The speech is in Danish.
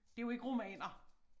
Det jo ikke romaner